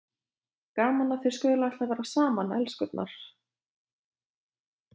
Gaman að þið skuluð ætla að vera saman, elskurnar!